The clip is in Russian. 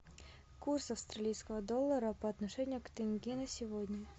курс австралийского доллара по отношению к тенге на сегодня